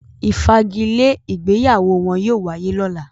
“ ìfagilé” ìgbéyàwó wọn yóò wáyé lọ́la.